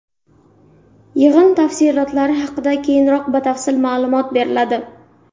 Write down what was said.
Yig‘in tafsilotlari haqida keyinroq batafsil ma’lumot beriladi.